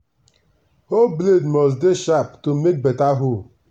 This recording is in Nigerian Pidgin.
hoe blade must dey sharp to make beta hole.